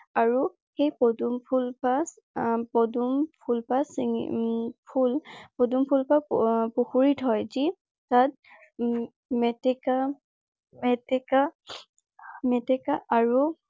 আৰু সেই পদুম ফুলপাহ আহ পদুম ফুলপাহ চিঙি উম পদুম ফুল পাহ পুখুৰীত হয়। যি যাত মেটেকা মেটেকা মেটেকা আৰু আৰু